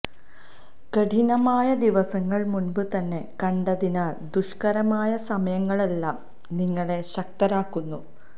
കഠിനമായ ദിവസങ്ങള് മുന്പ് തന്നെ കണ്ടതിനാല് ദുഷ്കരമായ സമയങ്ങളെല്ലാം നിങ്ങളെ ശക്തരാക്കുന്നു